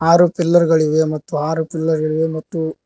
ಆರು ಪಿಲ್ಲರ್ ಗಳಿವೆ ಮತ್ತು ಆರು ಪಿಲ್ಲರ್ ಇದೆ ಮತ್ತು--